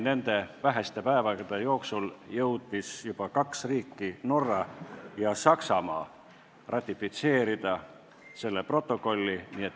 Nende väheste päevade jooksul jõudsid juba kaks riiki, Norra ja Saksamaa, ratifitseerida selle protokolli.